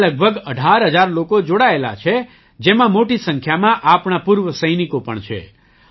તેમાં લગભગ ૧૮ હજાર લોકો જોડાયેલા છે જેમાં મોટી સંખ્યામાં આપણા પૂર્વ સૈનિકો પણ છે